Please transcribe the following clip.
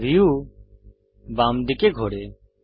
view বাম দিকে ঘোরে